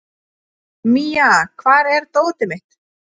Mía, hvar er dótið mitt?